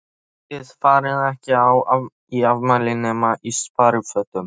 Þið farið ekki í afmæli nema í sparifötunum.